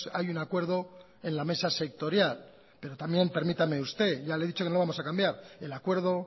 hay un acuerdo en la mesa sectorial pero también permítame usted ya le he dicho que no lo vamos a cambiar el acuerdo